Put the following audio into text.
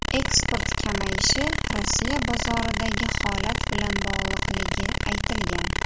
Eksport kamayishi Rossiya bozoridagi holat bilan bog‘liqligi aytilgan.